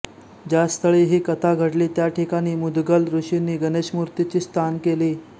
ज्या स्थळी ही कथा घडली त्या ठिकाणी मुदगल ऋषींनी गणेशमूर्तीची स्थान केली